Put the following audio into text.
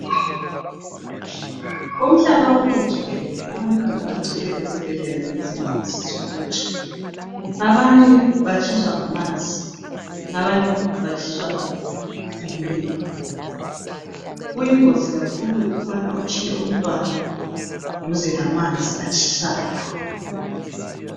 Umhlaba wonke jikelele abantwana bagcwele ezibhedlela ngezingozi zokutsha. Abanye batshiswa ngamanzi, abanye batshiswa ngumlilo. Kuyingozi kakhulu ukubana utshiye umntwana duze lamanzi atshisayo.